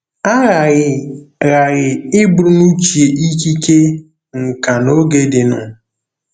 A ghaghị ghaghị iburu n'uche ikike, nkà na oge dịnụ.